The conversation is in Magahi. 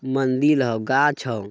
मंदिल होअ गाछ होअ।